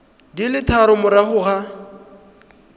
di le tharo morago ga